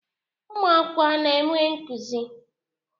Ụmụ akwụkwọ a na-enwe nkuzi?